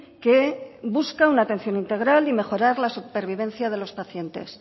que busca una atención integral y mejorar la supervivencia de los pacientes